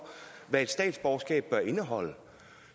hvad et statsborgerskab bør indeholde